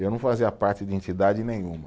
Eu não fazia parte de entidade nenhuma.